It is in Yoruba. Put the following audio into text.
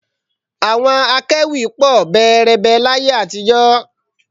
Àwọn akẹ́wì pọ̀ bẹẹrẹbẹ láyé àtijọ́